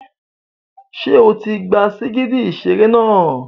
Ṣé o ti gba sìgìdì ìṣeré náà?